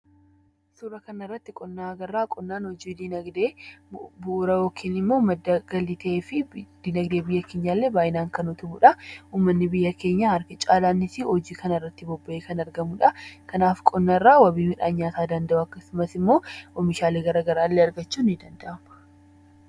Suuraa kanarratti qonna agarra. Qonnaan hojii diinagdee bu'uura yookiin immoo madda galii ta'ee fi diinagdee biyya keenyaa illee baay'inaan kan utubuudha. Ummanni biyya keenyaa harki caalaanis hojii kanarratti bobba'ee kan argamuudha. Kanaaf, qonna irraa wabii midhaan nyaataa danda'uu akkasumas immoo oomishaalee garaagaraa argachuun ni danda'ama.